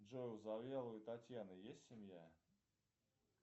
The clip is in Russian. джой у завьяловой татьяны есть семья